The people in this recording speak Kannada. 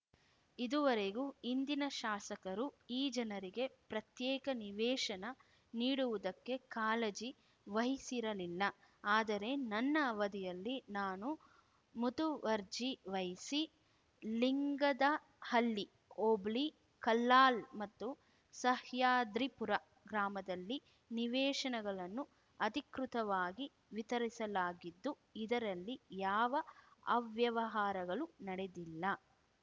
ಇದುವರೆಗೂ ಹಿಂದಿನ ಶಾಸಕರು ಈ ಜನರಿಗೆ ಪ್ರತ್ಯೇಕ ನಿವೇಶನ ನೀಡುವುದಕ್ಕೆ ಕಾಳಜಿ ವಹಿಸಿರಲಿಲ್ಲ ಆದರೆ ನನ್ನ ಅವಧಿಯಲ್ಲಿ ನಾನು ಮುತುವರ್ಜಿ ವಹಿಸಿ ಲಿಂಗದಹಳ್ಳಿ ಹೋಬಳಿ ಕಲ್ಲಾಳ್‌ ಮತ್ತು ಸಹ್ಯಾದ್ರಿಪುರ ಗ್ರಾಮದಲ್ಲಿ ನಿವೇಶನಗಳನ್ನು ಅಧಿಕೃತವಾಗಿ ವಿತರಿಸಲಾಗಿದ್ದು ಇದರಲ್ಲಿ ಯಾವ ಅವ್ಯವಹಾರಗಳು ನಡೆದಿಲ್ಲ